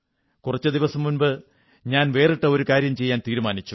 കുറച്ചു ദിവസം മുമ്പ് ഞാൻ വേറിട്ട ഒരു കാര്യം ചെയ്യാൻ തീരുമാനിച്ചു